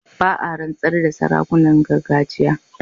Ba a rantsar da sarakunan gargajiya.